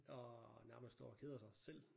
Og nærmest står og keder sig selv